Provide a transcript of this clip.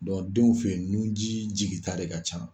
denw fɛ yen nunji jiginta de ka ca.